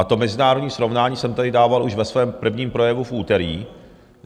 A to mezinárodní srovnání jsem tady dával už ve svém prvním projevu v úterý.